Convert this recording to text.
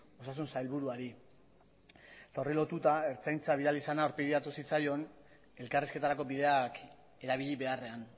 osasun sailburuari eta horri lotuta ertzaintza bidali izana aurpegiratu zitzaion elkarrizketarako bideak erabili beharrean